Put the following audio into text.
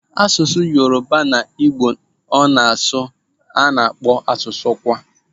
Asụsụ Yoruba na Igbo so n'asụsụ a na-akpọ asụsụ "kwa".